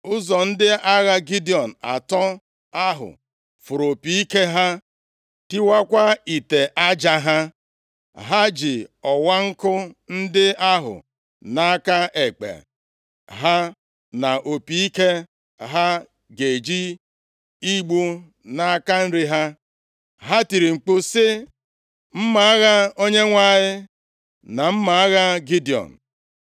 Ụzọ ndị agha Gidiọn atọ ahụ fụrụ opi ike ha, tiwakwaa ite aja ha. Ha ji ọwaọkụ ndị ahụ nʼaka ekpe ha na opi ike ha gaje igbu nʼaka nri ha, ha tiri mkpu sị, “Mma agha Onyenwe anyị, na mma agha Gidiọn!”